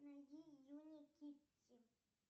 найди юни китти